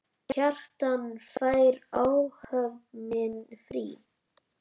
Kjartan: Fær áhöfnin frí?